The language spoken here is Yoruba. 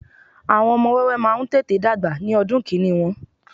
àwọn ọmọ wẹ́wẹ́ ma n tete dagba ní ọdún kini Won